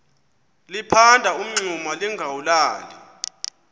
liphanda umngxuma lingawulali